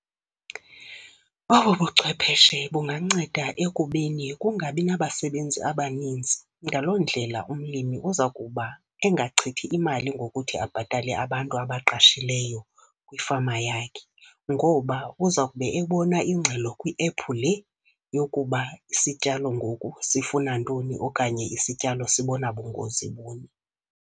Obu buchwepheshe bunganceda ekubeni kungabi nabasebenzi abaninzi. Ngaloo ndlela umlimi uza kuba engachithi imali ngokuthi abhatale abantu abaqashileyo kwifama yakhe, ngoba uza kube ebona ingxelo kwiephu le yokuba isityalo ngoku sifuna ntoni okanye isityalo sibona bungozi buni.